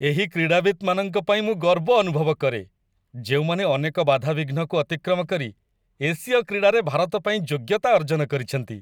ଏହି କ୍ରୀଡ଼ାବିତମାନଙ୍କ ପାଇଁ ମୁଁ ଗର୍ବ ଅନୁଭବ କରେ, ଯେଉଁମାନେ ଅନେକ ବାଧାବିଘ୍ନକୁ ଅତିକ୍ରମ କରି ଏସୀୟ କ୍ରୀଡ଼ାରେ ଭାରତ ପାଇଁ ଯୋଗ୍ୟତା ଅର୍ଜନ କରିଛନ୍ତି।